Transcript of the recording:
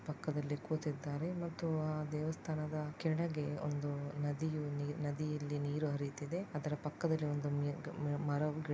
ಪಕ್ಕದಲ್ಲಿ ಕೂತಿದ್ದಾರೆ ಮತ್ತು ಆ ದೇವಸ್ಥಾನದ ಕೆಳಗೆ ಒಂದು ನದಿಯು ನೀರ್ ನದಿಯಲ್ಲಿ ನೀರು ಹರಿತಿದೆ. ಅದರ ಪಕ್ಕದಲ್ಲಿ ಒಂದು ಮಿಣ್ಕು ಮರವು ಗಿಡ --